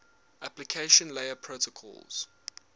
application layer protocols